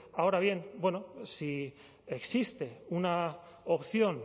ahora bien bueno si existe una opción